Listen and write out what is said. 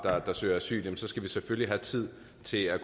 der søger asyl så skal vi selvfølgelig have tid til at